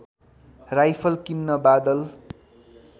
rifle किन्न बादल